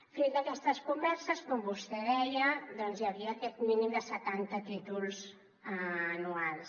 fruit d’aquestes converses com vostè deia doncs hi havia aquest mínim de setanta títols anuals